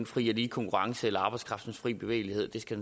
fri og lige konkurrence eller arbejdskraftens fri bevægelighed det skal